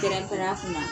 Kɛrɛnkɛrɛnna